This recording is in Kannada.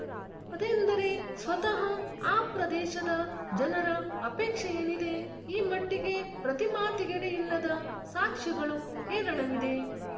ಅದೆಂದರೆ ಸ್ವತಃ ಆ ಪ್ರದೇಶದ ಜನರ ಅಪೇಕ್ಷೇಯೇನಿದೆ ಈ ಮಟ್ಟಿಗೆ ಪ್ರತಿಮಾತಿಗೆಡೆಯಿಲ್ಲದ ಸಾಕ್ಷ್ಯಗಳು ಹೇರಳವಿದೆ